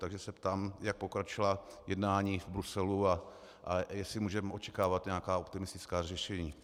Takže se ptám, jak pokročila jednání v Bruselu a jestli můžeme očekávat nějaká optimistická řešení.